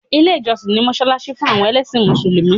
Ilé ìjọsìn ni mọ́ṣáláṣí fún àwọn ẹlẹ́sìn mùsùlùmí.